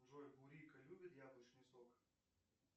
джой бурико любит яблочный сок